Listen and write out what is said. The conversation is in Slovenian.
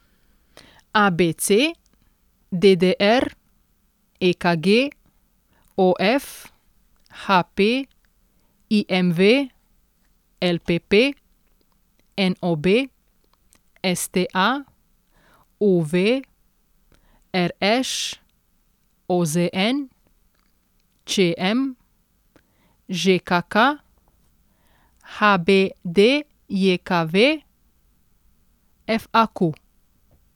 ABC, DDR, EKG, OF, HP, IMV, LPP, NOB, STA, UV, RŠ, OZN, ČM, ŽKK, HBDJKV, FAQ.